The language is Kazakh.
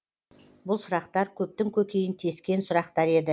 бұл сұрақтар көптің көкейін тескен сұрақтар еді